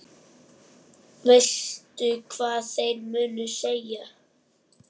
Veistu hvað þeir munu segja?